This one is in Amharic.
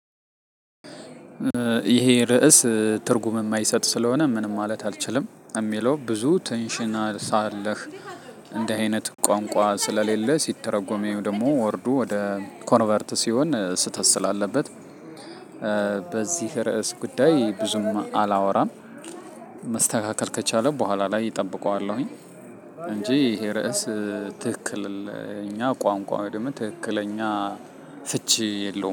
ይሄ ርዕስ ትርጉም የማይሰጥ ስለሆነ ምንም ማለት አልችልም የሚለው ብዙ ትንሽና ሳለህ እንደዚህ አይነት ቋንቋ ስለሌለ ሲተረጎሚው ደግሞ ወርዱ ወደ ኮንቨርት ሲሆን ስህተት ስላለበት። በዚህ ርዕስ ጉዳይ ብዙም አላወራም። መስተካከል ከቻለ በኋላ ላይ እጠብቀዋለሁኝ። እንጂ ይሄ ርዕስ ትክክል እኛ ቋንቋው ወይም ደግሞ ትክክለኛ ፍቺ የለውም